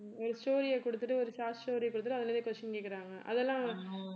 ஒரு story குடுத்துட்டு ஒரு short story அ குடுத்துட்டு அதிலேயே question கேக்குறாங்க அதெல்லாம்